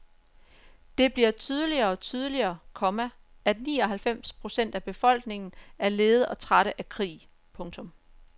Det bliver tydeligere og tydeligere, komma at ni og halvfems procent af befolkningen er lede og trætte af krig. punktum